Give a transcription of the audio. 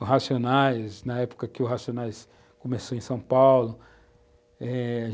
o Racionais, na época em que os racionais começou em São Paulo, é...